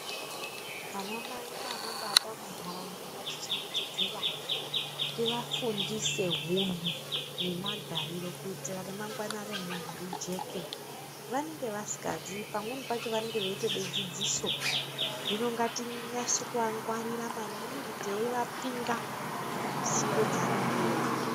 Ana mai nanababa muntaraunda ngatichengetedze vana, tivafundise hunhu nemagariro kuitira kuti remangwana remuntu rijeke. Vanenge vasikaziyi, pamweni pacho vanenge veide dzidziso, hino ngatinase kuvangwarira maningi teivapinga misindo dzevanenge veiita.